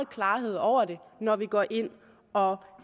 klarhed over det når vi går ind og